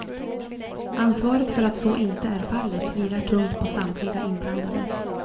Ansvaret för att så inte är fallet vilar tungt på samtliga inblandade.